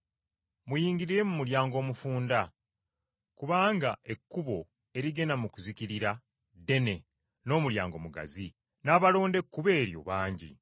“Muyingirire mu mulyango omufunda! Kubanga ekkubo erigenda mu kuzikirira ddene n’omulyango mugazi, n’abalonda ekkubo eryo bangi.